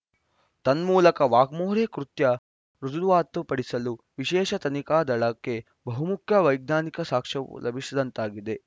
ತನ್ಮೂಲಕ ವಾಗ್ಮೋರೆ ಕೃತ್ಯ ರುಜುವಾತುಪಡಿಸಲು ವಿಶೇಷ ತನಿಖಾ ದಳಕ್ಕೆ ಬಹುಮುಖ್ಯ ವೈಜ್ಞಾನಿಕ ಸಾಕ್ಷ್ಯವು ಲಭಿಸಿದಂತಾಗಿದೆ